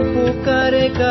Song